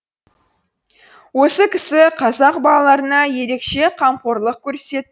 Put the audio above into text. осы кісі қазақ балаларына ерекше қамқорлық көрсетті